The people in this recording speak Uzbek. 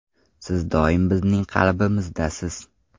Siz doim bizning qalbimizdasiz!”.